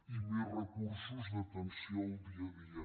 i més recursos d’atenció al dia a dia